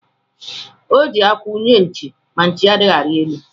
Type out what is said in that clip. O ji akwụ nye nchi, na nchi adịghị arị elu